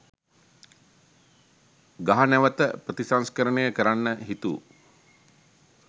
ගහ නැවත ප්‍රතිසංස්කරණය කරන්න හිතු